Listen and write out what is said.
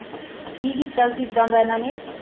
ਕੀ ਕੀਤਾ ਸੀ ਅਦਾ ਦਾ ਅਨਾ ਨਾ